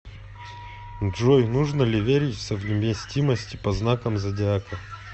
джой нужно ли верить в совместимость по знакам зодиака